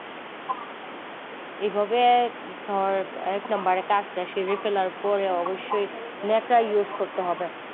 এইভাবে ধর এক number এর কাজ টা সেরে ফেলার পরে অবশ্যই ন্যাকড়া use করতে হবে ।